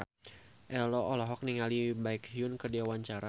Ello olohok ningali Baekhyun keur diwawancara